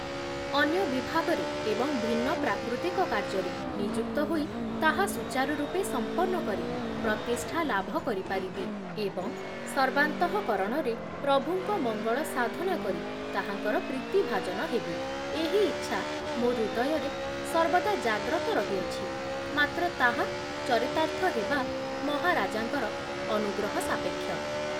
ଅନ୍ୟ ବିଭାଗରେ ଏବଂ ଭିନ୍ନ ପ୍ରକୃତିକ କାର୍ଯ୍ୟରେ ନିଯୁକ୍ତ ହୋଇ ତାହା ସୁଚାରୁରୂପେ ସମ୍ପନ୍ନ କରି ପ୍ରତିଷ୍ଠା ଲାଭ କରିପାରିବି ଏବଂ ସର୍ବାନ୍ତଃକରଣରେ ପ୍ରଭୁଙ୍କ ମଙ୍ଗଳ ସାଧନ କରି ତାହାଙ୍କର ପ୍ରୀତିଭାଜନ ହେବି, ଏହି ଇଚ୍ଛା ମୋ ହୃଦୟରେ ସର୍ବଦା ଜାଗ୍ରତ ରହି ଅଛି, ମାତ୍ର ତାହା ଚରିତାର୍ଥ ହେବା ମହାରାଜାଙ୍କର ଅନୁଗ୍ରହସାପେକ୍ଷ ।